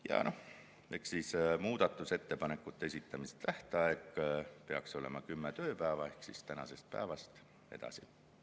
Ja muudatusettepanekute esitamise tähtaeg peaks olema kümme tööpäeva tänasest päevast edasi.